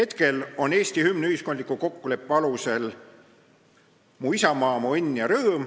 Praegu on Eesti hümn ühiskondliku kokkuleppe alusel "Mu isamaa, mu õnn ja rõõm".